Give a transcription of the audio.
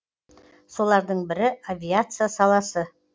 солардың бірі авиация саласы